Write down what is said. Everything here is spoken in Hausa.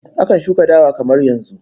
Akan shuka dawa kamar yanzu.